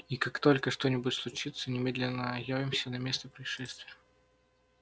и как только что-нибудь случится немедленно явимся на место происшествия